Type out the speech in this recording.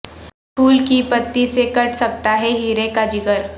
پھول کی پتی سے کٹ سکتا ہے ہیرے کا جگر